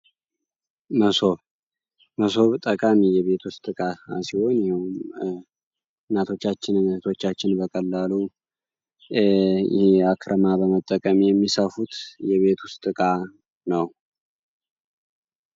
መሶብ መሶብ ጠቃሚ የቤት ውስጥ እቃ ሲሆን፤ ይሄም እናቶቻችን እህቶቻችን በቀላሉ አክረማ በመጠቀም የሚሰፉት የቤት ውስጥ እቃ ነው።